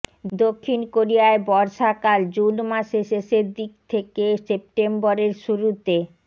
দক্ষিণ কোরিয়ায় বর্ষাকালে জুন মাসের শেষের দিকে থেকে সেপ্টেম্বরের শুরুতে